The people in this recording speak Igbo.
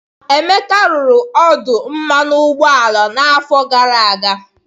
Emeka rụrụ ọdụ mmanụ ụgbọala n'afọ gara aga.